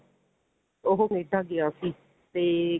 ਉਹ ਕਨੇਡਾ ਗਿਆ ਸੀ ਤੇ